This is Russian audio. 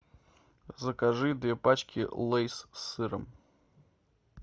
закажи две пачки лейс с сыром